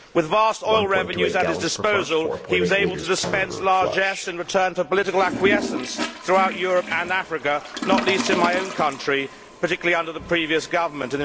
With vast oil revenues at his disposal, he was able to dispense largesse in return for political acquiescence throughout Europe and Africa, not least in my own country, the United Kingdom, particularly under the previous government.